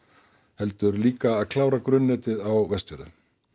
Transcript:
heldur líka að klára grunnnetið á Vestfjörðum